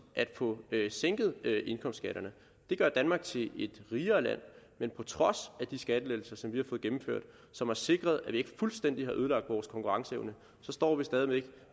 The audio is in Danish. at få sænket indkomstskatterne det gør danmark til et rigere land men på trods af de skattelettelser som vi og som har sikret at vi ikke fuldstændig har ødelagt vores konkurrenceevne står vi stadig væk